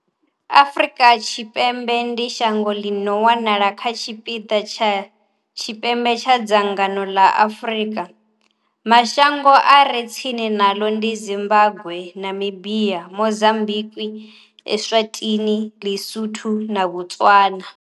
Afrika Tshipembe, Riphabuḽiki ya Afrika Tshipembe, ndi shango ḽi no wanala kha tshipiḓa tsha tshipembe tsha dzhango ḽa Afurika. Mashango a re tsini naḽo ndi Zimbagwe, Namibia, Mozambikwi, Eswatini, Li-Sotho na Botswana.